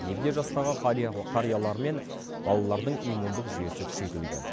егде жастағы қариялар мен балалардың иммундық жүйесі күшейтілген